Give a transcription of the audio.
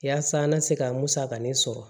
Yaasa an ka se ka musakanin sɔrɔ